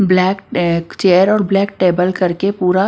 black chair और black table करके पूरा--